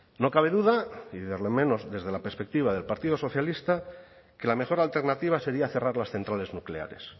no cabe duda y por lo menos desde la perspectiva del partido socialista que la mejor alternativa sería cerrar las centrales nucleares